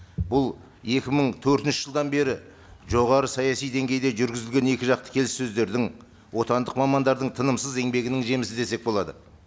бұл екі мың төртінші жылдан бері жоғары саяси деңгейде жүргізілген екіжақты келіссөздердің отандық мамандардың тынымсыз еңбегінің жемісі десек болады